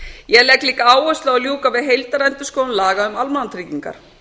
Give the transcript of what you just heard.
ég legg líka áherslu á að ljúka við heildarendurskoðun laga um almannatryggingar